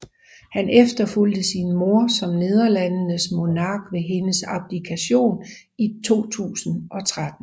Han efterfulgte sin mor som Nederlandenes monark ved hendes abdikation i 2013